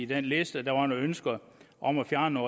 den liste at der var nogle ønsker om at fjerne